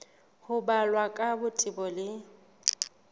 ho balwa ka botebo le